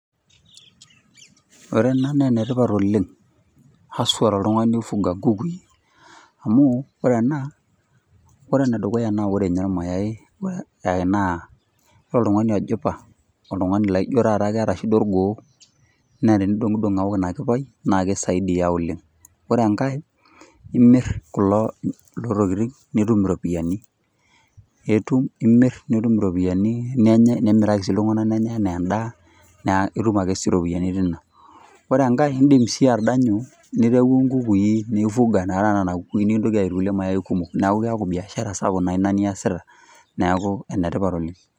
Ore ena naa enetipat oooleng ashu toltungani oifunga kukui amu ore ena. Ore ene dukuya ore ninye irmayai ebaiki naa ore oltungani ojipa oltungani laijo taata keeta enkeeya orgoo naa tenidonidong aok ina kipai na kisaidia oooleng. Ore enkae imir kulo tokitin nitu ropiyiani itum nimir nitum ropiyiani nenyae nimiraki iltungana nenyae anaa edaa naa itum si ropiyiani tenena. Ore enkae idim si atadanyu niaku kukui nifuga nena kukui nidim ataa kumok na biashara sapuk ina niasita niaku enetipat oooleng.